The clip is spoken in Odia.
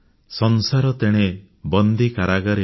ସଂସାର ତେଣେ ବନ୍ଦୀ କାରାଗାରେ